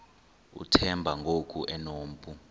uthemba ngoku enompu